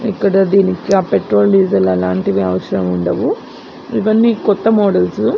ఇక్కడ దీనికి అ పెట్రోల్ డీజల్ అలాంటివి అవసరం ఉండదు ఇవన్నీ కొత్త మోడల్స్ --